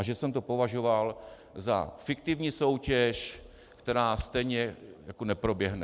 A že jsem to považoval za fiktivní soutěž, která stejně neproběhne.